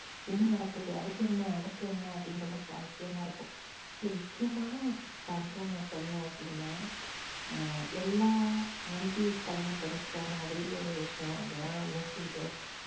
என்னா நடக்குது? அடுத்து என்ன? அடுத்து என்ன? அப்படின்னு ரொம்ப சுவாரசியமா இருக்கும். அதுல முக்கியமான ஒரு example ஆ நான் சொல்லணோம் அப்டினா எர் எல்லா aunties கெல்லாம் பிடிச்ச மாதிரி ஒரு விஷயம் அது தான் வந்து